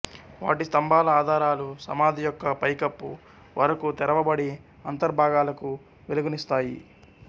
వాటి స్తంభాల ఆధారాలు సమాధి యొక్క పై కప్పు వరకు తెరవబడి అంతర్భాగాలకు వెలుగునిస్తాయి